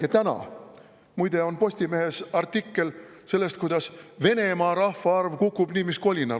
Lugege, täna muide on Postimehes artikkel sellest, kuidas Venemaa rahvaarv kukub nii mis kolinal.